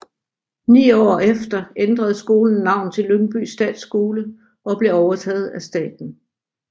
Ni år efter ændrede skolen navn til Lyngby Statsskole og blev overtaget af staten